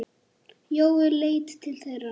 Jói leit til þeirra.